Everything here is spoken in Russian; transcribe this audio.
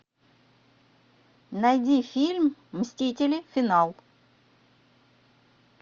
найди фильм мстители финал